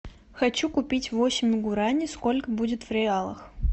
хочу купить восемь гурани сколько будет в реалах